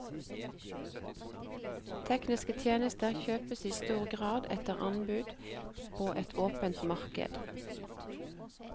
Tekniske tjenester kjøpes i stor grad etter anbud på et åpent marked.